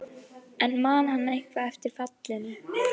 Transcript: En man hann eitthvað eftir fallinu?